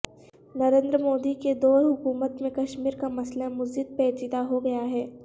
نریندر مودی کے دور حکومت میں کشمیر کا مسئلہ مزید پیچیدہ ہو گیا ہے